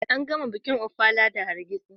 An gama bikin Ofala da hargitsi.